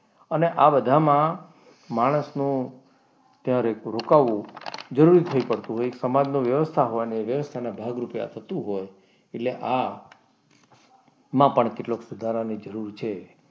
અને આ બધામાં માણસનો ત્યાં રોકાવું જરૂરી થાય પડતું હોય સમજનું વ્યવસ્થા હોવાને અથવા તો વ્યવસ્થાના ભાગરૂપે આ થતું હોય એટલે આ માં પણ કેટલાક સુધારાની જરૂર છે.